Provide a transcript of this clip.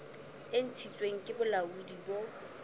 e ntshitsweng ke bolaodi bo